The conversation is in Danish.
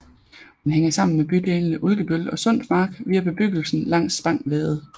Den hænger sammen med bydelene Ulkebøl og Sundsmark via bebyggelsen langs Spang Vade